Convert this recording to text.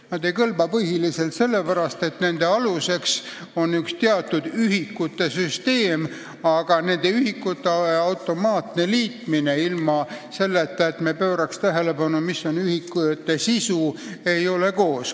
Ja ei kõlba põhiliselt sellepärast, et andmete aluseks on üks teatud ühikute süsteem, aga nende ühikute automaatne liitmine, ilma selleta, et me pööraks tähelepanu, mis on ühikute sisu, ei ole hea.